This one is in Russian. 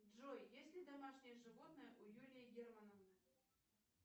джой есть ли домашнее животное у юлии германовны